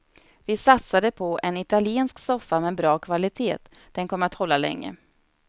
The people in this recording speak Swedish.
Vi satsade på en italiensk soffa med bra kvalitet, den kommer att hålla länge.